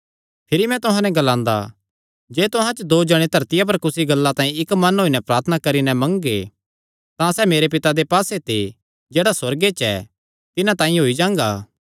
भिरी मैं तुहां नैं ग्लांदा जे तुहां च दो जणे धरतिया पर कुसी गल्लां तांई इक्क मन होई नैं प्रार्थना करी नैं मंगगे तां सैह़ मेरे पिता दे पास्से ते जेह्ड़ा सुअर्ग च ऐ तिन्हां तांई होई जांगा